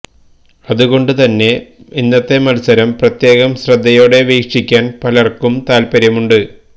അതുകൊണ്ടു തന്നെ ഇന്നത്തെ മത്സരം പ്രത്യേകം ശ്രദ്ധയോടെ വീക്ഷിക്കാന് പലര്ക്കും താല്പ്പര്യമുണ്ട്